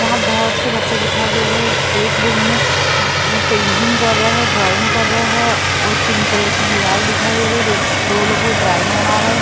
वहाँ बहुत से बच्चे लोग दिखाई दे रहे है एक रूम में पेंटिंग कर रहे हैं ड्राइंग कर रहे है और पिंक कलर की दीवाल दिखाई दे रही है कई लोग ड्राइंग बना रहे हैं ।